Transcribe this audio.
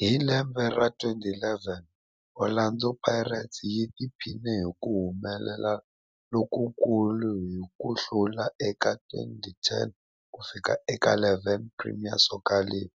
Hi lembe ra 2011, Orlando Pirates yi tiphinile hi ku humelela lokukulu hi ku hlula eka 2010-11 Premier Soccer League,